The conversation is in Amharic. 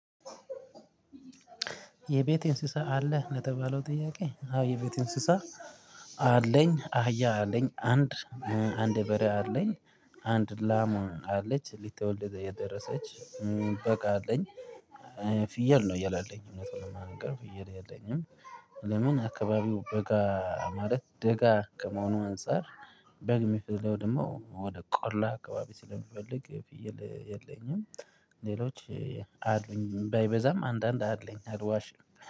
የቤት እንስሳ አለ ለተባለው ጥያቄ? አዎ የቤት እንስሳ አለኝ አህያ አለኝ አንድ አንድ በሬ አለኝ አንድ ላም አለች ልትወልድ የደረሰች። በግ አለኝ ፍየል ነው የለለኝ እውነት ለመንገር ፍየል የለኝም። ለምን አካባቢው በጋ ማለት ደጋ ከመሆኑ አንፃር። በግ የሚፈለው ደግሞ ወደ ቆላ አካባቢ ስለሚፈልግ ፊየል የለኝም። ሌሎች አሉኝ ባይበዛም አንዳንድ አለኝ አልዋሽም